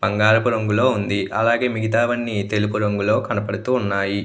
బంగారపు రంగు లో ఉంది అలాగే మిగతావన్నీ తెలుపు రంగు లో కనపడుతున్నాయి.